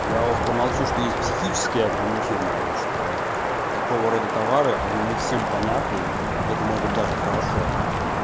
я уж промолчу что есть психические ограничения что такого рода товары они не всем понятны это может быть даже хорошо